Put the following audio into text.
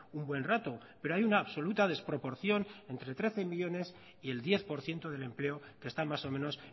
un buen rato pero hay una absoluta desproporción entre trece millónes y el diez por ciento del empleo que están más o menos